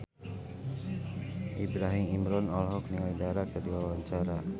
Ibrahim Imran olohok ningali Dara keur diwawancara